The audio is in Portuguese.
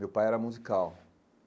Meu pai era musical.